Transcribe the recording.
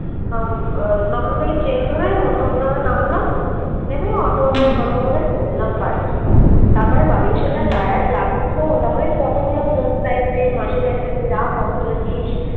আহ দমদম থেকে train ধরে নতুন গ্রামে নামলাম নেমে auto auto করে চলে এলাম বাড়ি তারপরে বাড়ি এসে যা tired লাগছিলো তারপরে photo গুলো বোন চাইছে মাসি চাইছে যে যা photo তুলেছিস